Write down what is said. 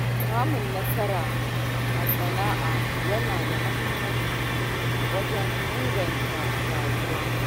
Samun nasara a sana’a yana da muhimmanci wajen inganta rayuwa.